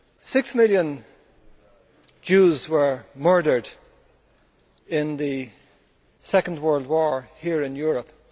Six million Jews were murdered in the Second World War here in Europe.